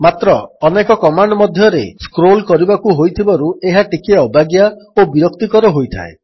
ମାତ୍ର ଅନେକ କମାଣ୍ଡ୍ ମଧ୍ୟରେ ସ୍କ୍ରୋଲ୍ କରିବାକୁ ହୋଇଥିବାରୁ ଏହା ଟିକିଏ ଅବାଗିଆ ଓ ବିରକ୍ତିକର ହୋଇଥାଏ